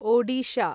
Odisha